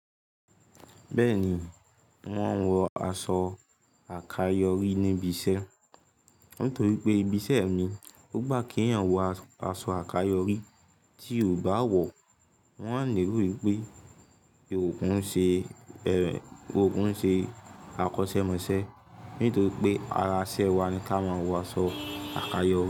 Bẹ́ẹ̀ni, mọ́n ń wọ aṣọ àkayòrí níbi iṣẹ́. Nítorí pé ibi iṣẹ́ mi, ó gbà kí àwọn wọ aṣọ àkayòrí, tí o bá wọ̀, wón á lerò wípé o kin ń ṣe, o kun ń ṣe àkọ́ṣẹ́ mọṣẹ́. Nítorí pé ara iṣẹ́ wa ni ká máa wọ aṣọ àkayòrí.